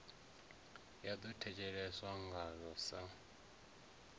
ya ḓo thetsheleswa ngaḽo sa